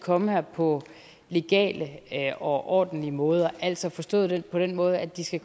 komme her på legale og ordentlige måder altså forstået på den måde at de skal